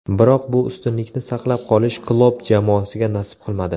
Biroq bu ustunlikni saqlab qolish Klopp jamoasiga nasib qilmadi.